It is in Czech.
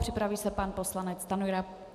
Připraví se pan poslanec Stanjura.